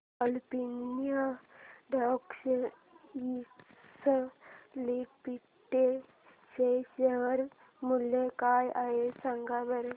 Olympia Textiles Limited चे share मूल्य काय आहे सांगा बरं